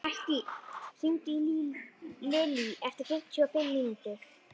Mattý, hringdu í Lilý eftir fimmtíu og fimm mínútur.